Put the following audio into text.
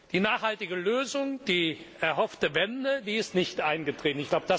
Die nachhaltige Lösung, die erhoffte Wende, die ist nicht eingetreten.